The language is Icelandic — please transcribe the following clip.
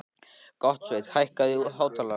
Gottsveinn, hækkaðu í hátalaranum.